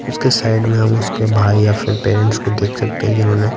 उसके साइड में हम उसके भाई या फिर पेरेंट्स को देख सकते हैं जिन्होंने--